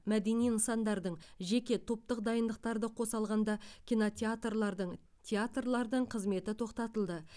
мәдени нысандардың жеке топтық дайындықтарды қоса алғанда кинотеатрлардың театрлардың қызметі тоқтатылды